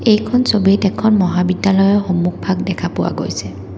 এইখন ছবিত এখন মহাবিদ্যালয়ৰ সন্মুখভাগ দেখা পোৱা গৈছে।